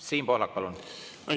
Siim Pohlak, palun!